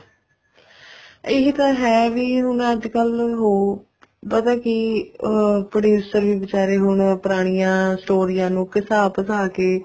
ਇਹੀ ਤਾਂ ਹੈ ਵੀ ਅੱਜਕਲ ਹੁਣ ਪਤਾ ਕੀ producer ਵੀ ਬਚਾਰੇ ਅੱਜਕਲ ਪੁਰਾਣੀਆਂ ਸਟੋਰੀਆਂ ਨੂੰ ਘਸਾ ਪੂਸਾ ਕੇ